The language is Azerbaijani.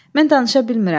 Mən danışa bilmirəm.